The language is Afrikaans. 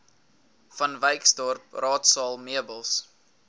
vanwyksdorp raadsaal meubels